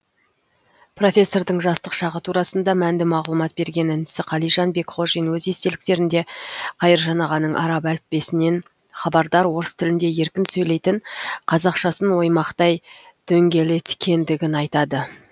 профессордың жастық шағы турасында мәнді мағлұмат берген інісі қалижан бекхожин өз естеліктерінде қайыржан ағаның араб әліппесінен хабардар орыс тілінде еркін сөйлейтін қазақшасын оймақтай дөңгелеткендігін айтады